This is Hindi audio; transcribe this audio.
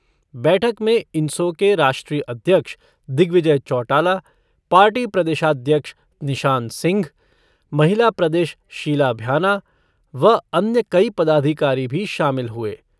बैठक में इनसो के राष्ट्रीय अध्यक्ष दिग्विजय चौटाला, पार्टी प्रदेशाध्यक्ष निशान सिंह, महिला प्रदेश, शीला भ्याना व अन्य कई पदाधिकारी भी शामिल हुए।